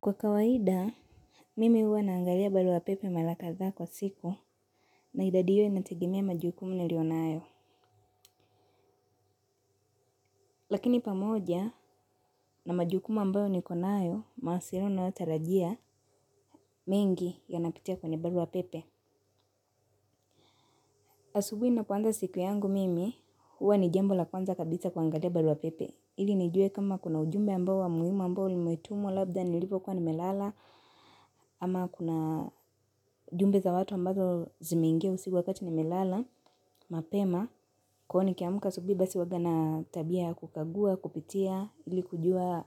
Kwa kawaida, mimi huwa naangalia barua pepe mara kadhaa kwa siku na idadi hiyo inategemea majukumu nilionayo. Lakini pamoja na majukumu ambayo nikonayo, mawasiliano nayotarajia mingi yanapitia kwenye barua pepe. Asubuhi ninapoanza siku yangu mimi, huwa ni jambo la kwanza kabisa kuangalia barua pepe. Ili nijue kama kuna ujumbe ambao wa muhimu ambao nimetumwa labda nilivokua nimelala ama kuna jumbe za watu ambazo zimeingia usiku wakati nimelala mapema kwa hivo nikiamka asubuhi basi uwaga na tabia kukagua, kupitia ili kujua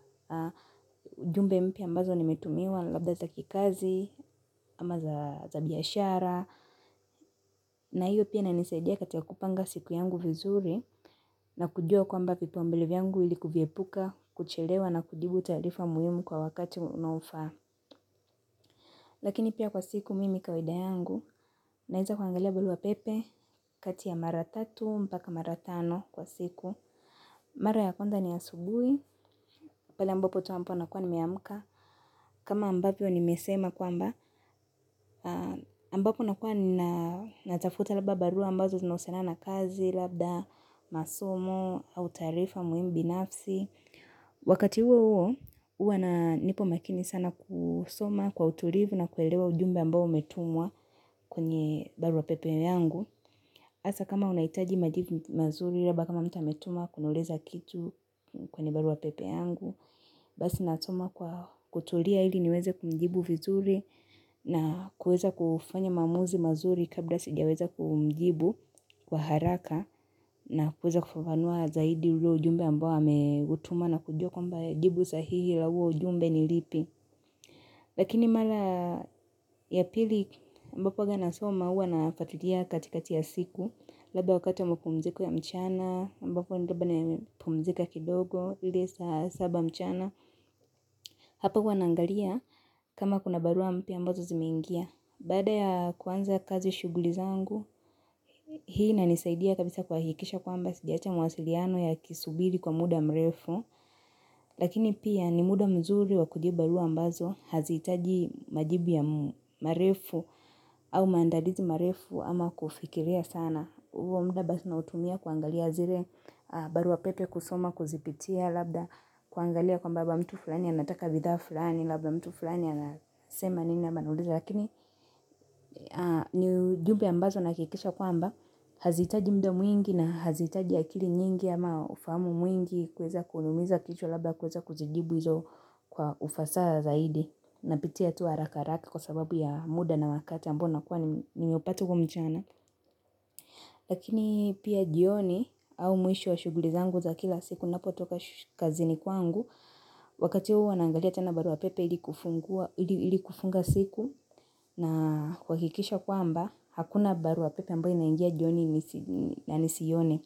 jumbe mpya ambazo nimetumiwa labda za kikazi ama za biashara na hiyo pia inanisaidia katika kupanga siku yangu vizuri na kujua kwamba vipauambele vyangu ili kuviepuka, kuchelewa na kujibu taarifa muhimu kwa wakati unaofaa. Lakini pia kwa siku mimi kawaida yangu naeza kuangalia buarua pepe kati ya mara tatu mpaka mara tano kwa siku. Mara ya kwanza ni asubuhi pale ambapo tu nakua nimeaamka kama ambapo nimesema kwamba, ambapo nakua natafuta labda barua ambazo zinausiana na kazi, labda masomo, au taarifa muhimu binafsi wakati huo huo huwa na nipo makini sana kusoma kwa uturivu na kuelewa ujumbe ambao umetumwa kwenye barua pepe yangu asa kama unaitaji majibu mazuri rabda kama mtu ametuma kuniuliza kitu kwenye barua pepe yangu basi natuma kwa kuturia ili niweze kumjibu vizuri na kueza kufanya maamuzi mazuri kabla sijaweza kumjibu kwa haraka na kuweza kufafanua zaidi huo ujumbe ambao ameutuma na kujua kwamba jibu sahihi la huo ujumbe ni lipi. Lakini mara ya pili ambapo uaga nasoma huwa nafatilia katikati ya siku labda wakati wa mapumziko ya mchana, ambapo ndaba na mpumzika kidogo, lisa saba mchana Hapa huwa naangalia kama kuna barua mpya ambazo zimeingia. Baada ya kuanza kazi shuguli zangu Hii inanisaidia kabisa kuhakikisha kwamba sijaacha mawasiliano yakisubiri kwa muda mrefu, lakini pia ni muda mzuri wa kujibu barua ambazo haziitaji majibu ya marefu au maandalizi marefu ama kufikiria sana. Huo mda basi nautumia kuangalia zire barua pepe kusoma kuzipitia labda kuangalia kwamba mtu fulani anataka bidhaa fulani labda mtu fulani anasema nini yama anauliza lakini ni ujube ambazo nahakikisha kwamba haziitaji mda mwingi na haziitaji akiri nyingi ama ufahamu mwingi kuweza kuniumiza kichwa labda kueza kuzijibu hizo kwa ufasaha zaidi Napitia tu haraka haraka kwa sababu ya muda na wakati ambao nakuwa nimeupata uko mchana lakini pia jioni au mwisho wa shuguli zangu za kila siku ninapotoka kazini kwangu Wakati huo naangalia tena barua pepe ili kufunga siku na kuakikisha kwamba hakuna barua pepe ambayo inaingia jioni na nisiione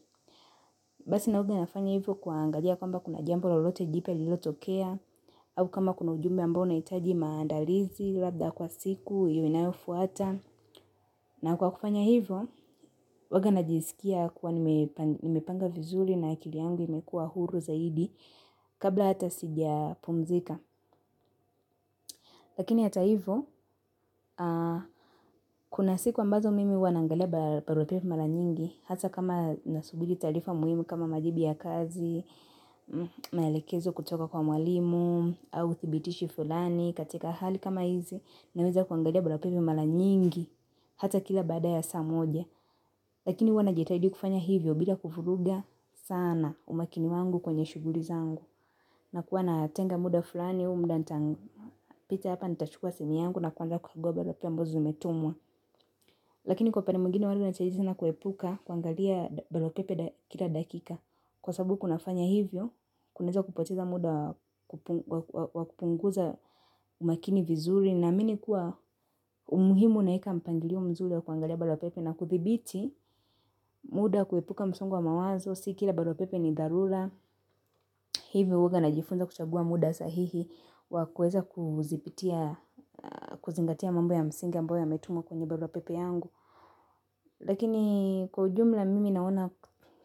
basi huaga nafanya hivyo kuaangalia kwamba kuna jambo lolote jipya lililotokea au kama kuna ujumbe ambao nahitaji maandalizi labda kwa siku inayofuata. Na kwa kufanya hivo, uaga najisikia kuwa nimepanga vizuri na akili yangu imekuwa huru zaidi kabla hata sijapumzika. Lakini hata hivo, kuna siku ambazo mimi huwa naangalia barua pepe mara nyingi hata kama nasubili taarifa muhimu kama majibu ya kazi, maelekezo kutoka kwa mwalimu, au thibitishi fulani katika hali kama hizi naweza kuangalia barua pepe mala nyingi hata kila baada ya saa moja. Lakini huwa najitahidi kufanya hivyo bila kuvuruga sana umakini wangu kwenye shuguri zangu. Nakuwa natenga muda fulani huu mda nitapita hapa nitachukua simu yangu na kuanza kufungua barua pepe ambazo zimetumwa. Lakini kwa pande mwingine wala chajitina kuepuka kuangalia barua pepe kila dakika. Kwa sabu kunafanya hivyo, kunaeza kupoteza muda wa kupunguza umakini vizuri. Naamini kuwa umuhimu naeka mpangilio mzuri wa kuangalia barua pepe na kudhibiti muda kuepuka msongo wa mawazo, si kila barua pepe ni dharura hivyo huaga najifunza kuchagua muda sahihi wa kueza kuzipitia, kuzingatia mambo ya msingi ambayo yametumwa kwenye barua pepe yangu. Lakini kwa ujumla mimi naona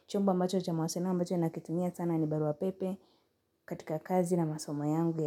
chombo ambacho cha mawasena ambacho nakitumia sana ni barua pepe katika kazi na masomo yangu.